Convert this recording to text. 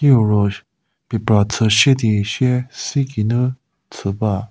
kieu ro phipra chü sie di sie sei geinu chü ba.